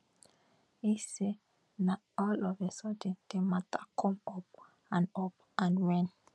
e say na all of a sudden di mata come up and up and wen